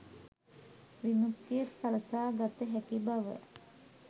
විමුක්තිය සලසා ගත හැකි බව